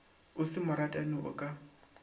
o se moratani o ka